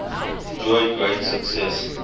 enjoyed great success